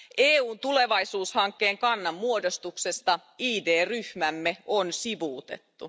EUn tulevaisuushankkeen kannanmuodostuksessa ID ryhmämme on sivuutettu.